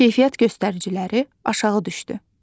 Keyfiyyət göstəriciləri aşağı düşdü.